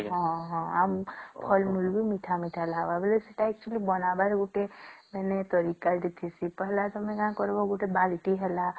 ହଁ ହଁ ଆଉ ଫଳ ଫୁଲ ବି ମିଠା ମିଠା ଲାଗିବ ଆଉ ସେଟା Actually ବାନାବର ବି ଗୋଟେ ତରିକା ଦେଶି ପହଲା ତମେ କଁ କରିବା ଗୋଟେ ବାଲଟି ହେଲା